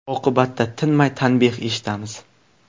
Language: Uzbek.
Oqibatda tinmay tanbeh eshitamiz.